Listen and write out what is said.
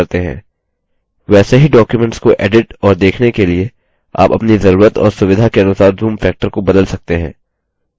वैसे ही documents को एडिट और देखने के लिए आप अपनी जरूरत और सुविधा के अनुसार zoom factor को बदल सकते हैं